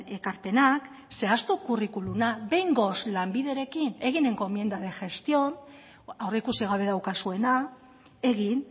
ekarpenak zehaztu kurrikuluma behingoz lanbiderekin egin encomienda de gestión aurreikusi gabe daukazuena egin